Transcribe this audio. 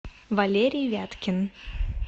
валерий вяткин